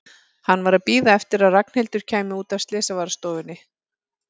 Hann var að bíða eftir að Ragnhildur kæmi út af slysavarðstofunni.